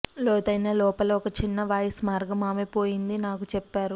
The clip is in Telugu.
లోతైన లోపల ఒక చిన్న వాయిస్ మార్గం ఆమె పోయింది నాకు చెప్పారు